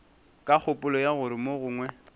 ka kgopolo ya gore mogongwe